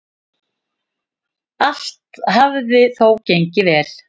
Allt hafi þó gengið vel.